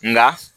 Nka